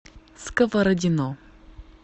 сковородино